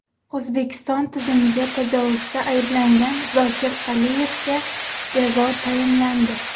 O‘zbekiston tuzumiga tajovuzda ayblangan Zokir Aliyevga jazo tayinlandi.